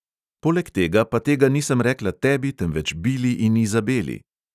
Poleg tega pa tega nisem rekla tebi, temveč bili in izabeli.